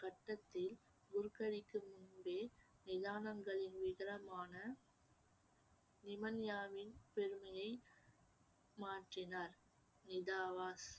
கட்டத்தில் குருக்கடிக்கு முன்பே நிதானங்களின் நிவண்யாவின் பெருமையை மாற்றினார்